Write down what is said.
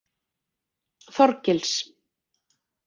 Þorgils